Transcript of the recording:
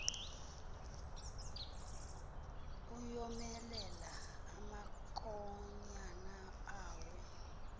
ayomelela amankonyana awo